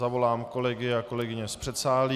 Zavolám kolegyně a kolegy z předsálí.